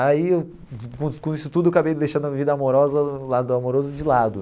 Aí, eu com isso tudo, eu acabei deixando a vida amorosa, o lado amoroso, de lado.